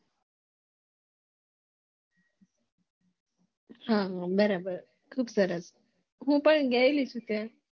હમ બરાબર ખુબ સરસ હું પણ ગયેલી છું ત્યાં